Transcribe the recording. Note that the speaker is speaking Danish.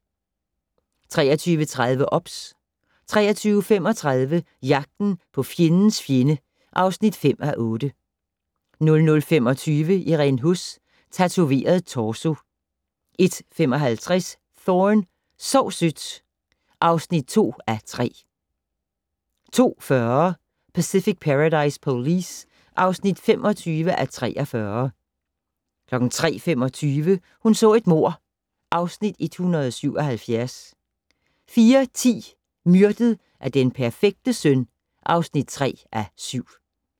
23:30: OBS 23:35: Jagten på fjendens fjende (5:8) 00:25: Irene Huss: Tatoveret torso 01:55: Thorne: Sov sødt (2:3) 02:40: Pacific Paradise Police (25:43) 03:25: Hun så et mord (Afs. 177) 04:10: Myrdet af den perfekte søn (3:7)